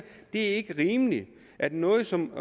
det ikke er rimeligt at noget som